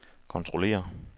kontrollere